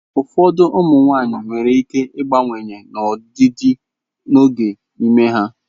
Ụfọdụ ụmụ nwanyị nwere ike ịbawanye n'ojiji n'oge ime ha.